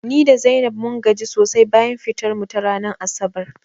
Ni da Zainab mun gaji sosai bayan fitar mu ta ranar asabar